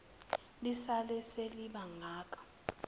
lisale seliba ngaka